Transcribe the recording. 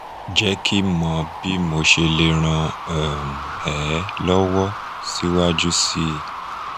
je ki mo bi mosele ran um e lowo siwaju sii